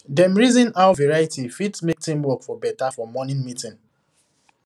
dem reason how variety fit make teamwork for better for morning meeting